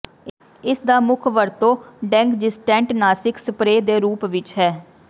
ਇਸਦਾ ਮੁੱਖ ਵਰਤੋਂ ਡੇਂਗਜ਼ੀਸਟੈਂਟ ਨਾਸਿਕ ਸਪਰੇਅ ਦੇ ਰੂਪ ਵਿੱਚ ਹੈ